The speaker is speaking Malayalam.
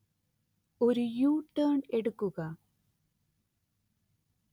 ഒരു യു-ടേണ്‍ എടുക്കുക